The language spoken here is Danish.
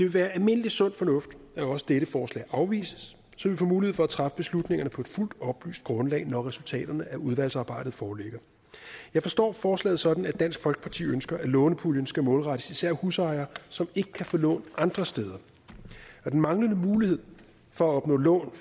være almindelig sund fornuft at også dette forslag afvises så vi får mulighed for at træffe beslutningerne på et fuldt oplyst grundlag når resultaterne af udvalgsarbejdet foreligger jeg forstår forslaget sådan at dansk folkeparti ønsker at lånepuljen især skal målrettes husejere som ikke kan få lån andre steder den manglende mulighed for at opnå lån